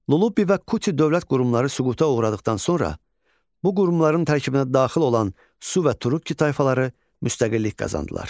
Lulubbi və Kuti dövlət qurumları süquta uğradıqdan sonra bu qurumların tərkibinə daxil olan su və Turukki tayfaları müstəqillik qazandılar.